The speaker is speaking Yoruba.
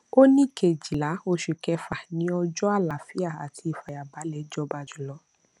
ó ní kejìlá oṣù kẹfà ni ọjọ àlàáfíà àti ìfàyàbalè jọba jùlọ